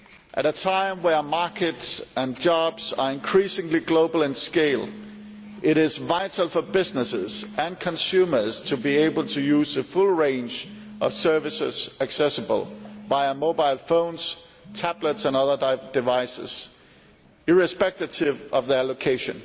At a time when markets and jobs are increasingly global in scale, it is vital for businesses and consumers to be able to use a full range of services accessible via mobile phones, tablets and other devices, irrespective of their location.